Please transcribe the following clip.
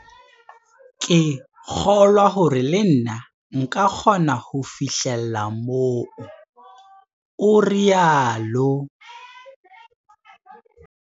Ke kgolwa hore le nna nka kgona ho fihlella moo, o rialo.